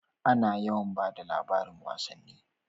A na yawan bada labarin wasanni